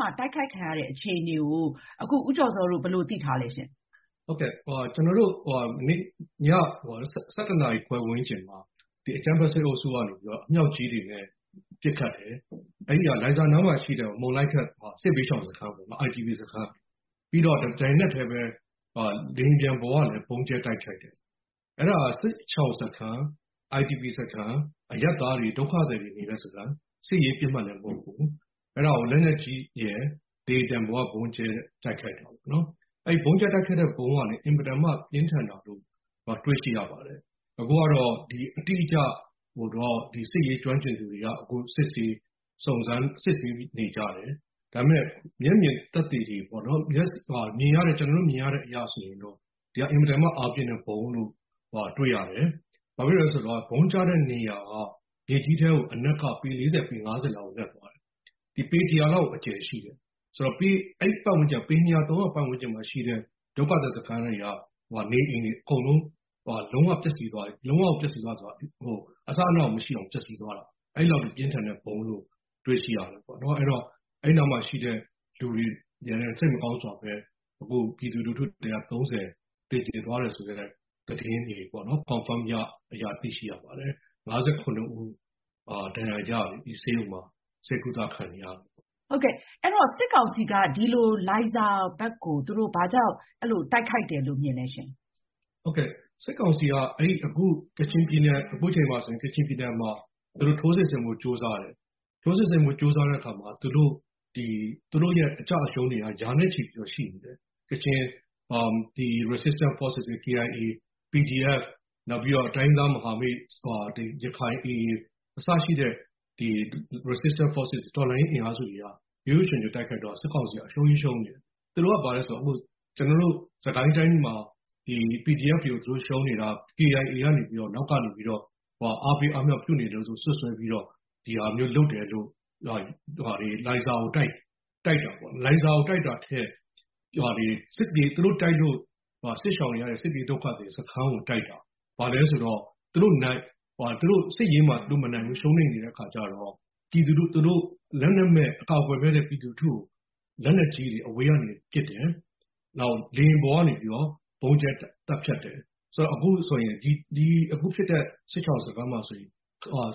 မှာ တိုက်ခိုက်ခံရတဲ့အခြေအနေကို အခု ဦးကျော်ဇောတို့ ဘယ်လို သိထားလဲရှင့်။ ဦးကျော်ဇော။ ။ ဟုတ်ကဲ့၊ ည ၁၁ နာရီဝန်းကျင်မှာ ဒီ အကြမ်းဖက် စစ်အုပ်စုက အမြောက်ကြီးတွေနဲ့ ပစ်ခတ်တယ်။ လိုင်ဇာနားမှာရှိတဲ့ မုန်လိုင်ခက် စစ်ဘေးရှောင် IDP စခန်း၊ ပြီးတော့ တပြိုင်နက်တည်းပဲ လေယာဉ်ပေါ်ကလည်းပဲ ဗုံးကြဲတိုက်ခိုက်တယ်။ အဲဒါက စစ်ရှောင်စခန်း IDP စခန်း၊ အရပ်သားတွေ၊ ဒုက္ခသည်တွေနေတဲ့စခန်း။ စစ်ရေးပစ်မှတ်လည်းမဟုတ်ဘူး။ အဲဒါကို လက်နက်ကြီးတွေရယ်၊ လေယာဉ်ပျံပေါ်ကရယ် ဗုံးကြဲတိုက်ခိုက်တာပေါ့နော်။ အဲဒီ ဗုံးကြဲတိုက်ခိုက်တဲ့ဗုံးကလည်း အင်မတန်မှ ပြင်းထန်တာကို တွေ့ရှိရပါတယ်။ သဘောကတော့ အတိအကျတော့ စစ်ရေးကျွမ်းကျင်သူတွေက စစ်ဆေး စုံမ်းနေကြတယ်။ ဒါပေမဲ့ မျက်မြင်သက်သေတွေပေါ့နော်- ကျနော်တို့ မြင်ရတဲ့အရဆိုရင်တော့ ဒီဟာ အင်မတန်မှ အားပြင်းတဲ့ဗုံးလို့ တွေ့ရတယ်။ ဘာလို့လဲဆိုတော့ ဗုံးကျတဲ့နေရာက မြေကြီးထဲကို အနက်က ပေ ၄၀ ၊ ပေ ၅၀ လောက်ကို နက်သွားတယ်။ ပေ ၁၀၀ လောက်ကို အကျယ်ရှိတယ်။ အဲဒီ ပေ ၂၀၀၊ ၃၀၀ ပတ်ဝန်းကျင်မှာ ရှိတဲ့ ဒုက္ခသည်စခန်းတွေက နေအိမ်တွေ အကုန်လုံး လုံးဝကို ပျက်စီးသွားတယ်။ လုံးဝပျက်စီးသွားတယ်ဆိုတာ အစအနကို မရှိအောင် ပျက်စီးသွားတာ။ အဲဒီလောက်အထိ ပြင်းထန်တဲ့ဗုံးလို့ တွေ့ရှိရတယ်။ အဲဒီနားမှာရှိတဲ့လူတွေလည်း စိတ်မကောင်းစွာပဲ ပြည်သူတွေ ၃၀ သေကျေသွားတယ်ဆိုတဲ့ သတင်းတွေ confirm ရ... သိရှိရပါတယ်။ ၅၇ ဦး ဒဏ်ရာရလို့ ဆေးရုံမှာ ဆေးကုသခံနေရတယ်။ အင်ကြင်းနိုင်။ ။ ဟုတ်ကဲ့၊ အဲဒီတော့ စစ်ကောင်စီက လိုင်ဇာဘက်ကို ဘာကြောင့် အဲဒီလို တိုက်ခိုက်တယ်လို့ မြင်လဲ။ ဦးကျော်ဇော။ ။ ဟုတ်ကဲ့။ စစ်ကောင်စီက အခုအချိန်မှာဆိုရင် ကချင်ပြည်နယ်မှာ ထိုးစစ်ဆင်ဖို့ ကြိုးစားတယ်။ ထိုးစစ်ဆင်ဖို့ ကြိုးစားတဲ့အခါမှာ သူတို့ရဲ့ အကျအရှုံးတွေက ရာနဲ့ချီပြီးတော့ ရှိနေတယ်။ ကချင်မှာ resistant forces- KIA, PDF ၊ နောက်ပြီးတော့ တိုင်းရင်းသားမဟာမိတ် ရခိုင် AA - အစရှိတဲ့ resistant forces - တော်လှန်ရေးအင်အားစုတွေက ရွပ်ရွပ်ချွံချွံတိုက်ခိုက်တော့ စစ်ကောင်စီက အရှုံးကြီးရှုံးနေတယ်။ သူတို့က ဘာလဲဆိုတော့ ကျနော်တို့ စစ်ကိုင်းတိုင်းမှာ PDF တွေကို သူတို့ရှုံးနေတာ KIA က နောက်ကနေပြီးတော့ အားပေးအားမြှောက်ပြုနေလို့ဆိုပြီး စွပ်စွဲပြီးတော့ ဒီဟာမျိုးလုပ်တယ်လို့ လိုင်ဇာကိုတိုက်တယ်ပေါ့။ လိုင်ဇာကိုတိုက်တာထက် သူတို့တိုက်လို့ စစ်ရှောင်နေရတဲ့ စစ်ပြေးဒုက္ခသည်စခန်းကို တိုက်တာ။ ဘာလို့လဲဆိုတော့ စစ်ရေးမှာ သူတို့မနိုင်ဘူး။ ရှုံးနိမ့်နေတဲ့အခါကျတော့ လက်နက်မဲ့၊ အကာကွယ်မဲ့တဲ့ ပြည်သူလူထုကို လက်နက်ကြီးတွေနဲ့ အဝေးကနေ ပစ်တယ်။ နောက် လေယာဉ်ပေါ်ကနေပြီးတော့ ဗုံးကြဲသတ်ဖြတ်တယ်။ ဆိုတော့ အခုဖြစ်တဲ့ စစ်ရှောင်စခန်းမှာဆိုရင်